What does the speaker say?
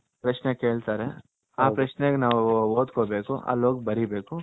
ಪ್ರಶ್ನೆ ಕೇಳ್ತಾರೆ ಆ ಪ್ರಶ್ನೆಗೆ ನಾವು ಓದ್ಕೊಬೇಕು ಅಲ್ಲಿ ಹೋಗಿ ಬರೀಬೇಕು.